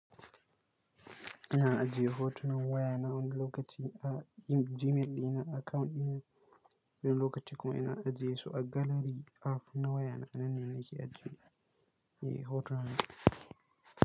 Ina ajiye hotunan waya nawa ɗaya lokaci a Gmail ɗina account ɗina, wani lokaci kuma ina ajiye su a galari app na waya nan ne nake ajjiye hotuna na.